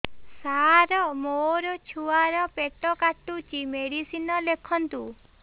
ସାର ମୋର ଛୁଆ ର ପେଟ କାଟୁଚି ମେଡିସିନ ଲେଖନ୍ତୁ